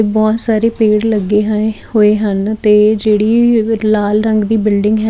ਬਹੁਤ ਸਾਰੇ ਪੇੜ ਲੱਗੇ ਹੋਏ ਹਨ ਤੇ ਜਿਹੜੀ ਲਾਲ ਰੰਗ ਦੀ ਬਿਲਡਿੰਗ ਹੈ --